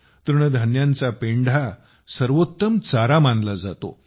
तृणधान्यांचा पेंढा देखील सर्वोत्तम चारा मानला जातो